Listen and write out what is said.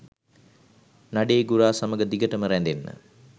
නඩේ ගුරා සමග දිගටම රැඳෙන්න